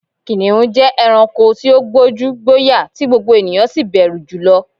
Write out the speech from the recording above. Kìnìún jẹ́ ẹranko tí ó gbójú, gbóyà tí gbogbo ènìyàn sì bẹ̀rù jùlo